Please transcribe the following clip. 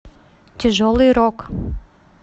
тяжелый рок